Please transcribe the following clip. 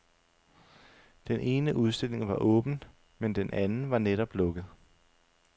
Den ene udstilling var åben, men den anden var netop lukket.